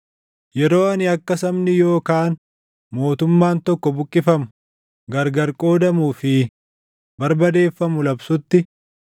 Yeroo ani akka sabni yookaan mootummaan tokko buqqifamu, gargar qoodamuu fi barbadeeffamu labsutti,